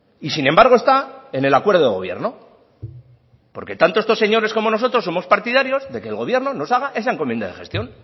y sin embargo está en el acuerdo de gobierno porque tanto estos señores como nosotros somos partidarios de que el gobierno nos haga esa encomienda de gestión